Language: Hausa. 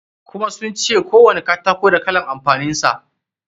Kuma sun ce kowani katako da kalan amfanin sa.